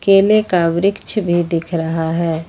केले का वृक्ष भी दिख रहा है।